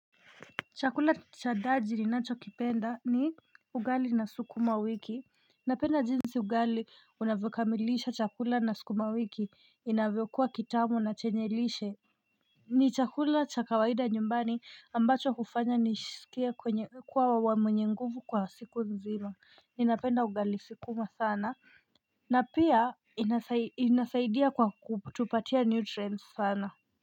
Chakula chadaji ninacho kipenda ni ugali na sukuma wiki Napenda jinsi ugali unavyo kamilisha chakula na sukuma wiki inavyo kuwa kitamu na chenye lishe ni chakula cha kawaida nyumbani ambacho hufanya nijisikie kwenye kuwa wa mwenyenguvu kwa siku nzima Ninapenda ugali sukuma sana na pia inasaidia kwa kutupatia nutrients sana.